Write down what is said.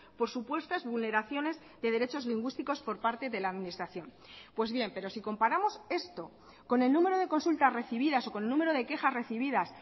por supuestas vulneraciones de derechos lingüísticos por parte de la administración pues bien pero si comparamos esto con el número de consultas recibidas o con el número de quejas recibidas